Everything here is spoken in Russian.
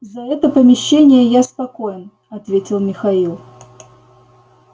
за это помещение я спокоен ответил михаил